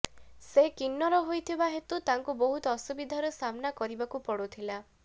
ସେ କିନ୍ନର ହୋଇଥିବା ହେତୁ ତାଙ୍କୁ ବହୁତ ଅସୁବିଧାର ସାମ୍ନା କରିବାକୁ ପଡୁଥିଲା